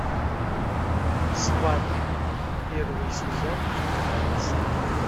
сваты первый сезон вторая серия